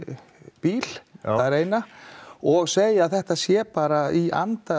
bíl og segja þetta sé bara í anda